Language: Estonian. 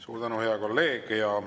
Suur tänu, hea kolleeg!